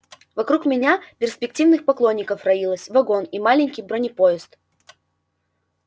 вокруг меня перспективных поклонников роилось вагон и маленький бронепоезд